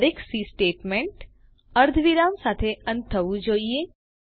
દરેક C statement અર્ધવિરામ સાથે અંત થવું જોઈએ